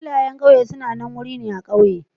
Filayen ƙauye sanannen wuri ne a ƙauye